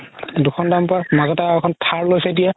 দুখন দামপাৰ মাজতে আৰু এখন থাৰ লৈছে এতিয়া